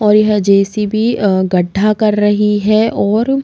और यह जे_सी_बी अ गढ्ढा कर रही है और --